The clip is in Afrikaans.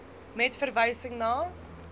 met verwysing na